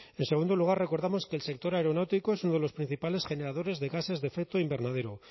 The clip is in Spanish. en segundo lugar recordamos que el sector aeronáutico es uno de los principales generadores de gases de efecto invernadero